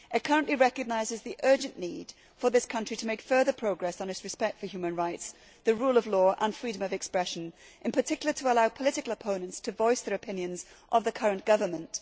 It currently recognises the urgent need for this country to make further progress on its respect for human rights, the rule of law and freedom of expression, in particular in allowing political opponents to voice their opinions of the current government.